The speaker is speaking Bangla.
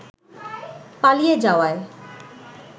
পালিয়ে যাওয়ায়